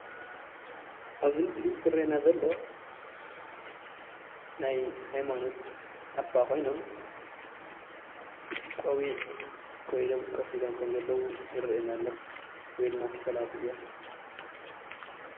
ኣብዚ ምስሊ ዝርአየና ዘሎ ናይ ሃይማኖት ኣባ ኾዮኖሞ ቆቢዕ ገይሮም ኮፍ ኢሎም ከም ዘለው ይርአየና ኣሎ። ወይ ድማ ፈላሲ እዮም።